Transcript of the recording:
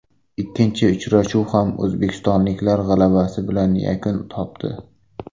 Ikkinchi uchrashuv ham o‘zbekistonliklar g‘alabasi bilan yakun topdi.